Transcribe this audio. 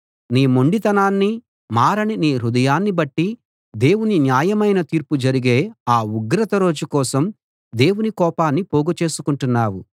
నీ మొండితనాన్ని మారని నీ హృదయాన్ని బట్టి దేవుని న్యాయమైన తీర్పు జరిగే ఆ ఉగ్రత రోజు కోసం దేవుని కోపాన్ని పోగు చేసుకుంటున్నావు